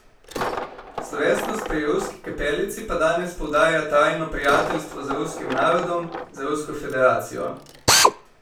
Slovesnost pri Ruski kapelici pa danes poudarja trajno prijateljstvo z ruskim narodom, z Rusko federacijo.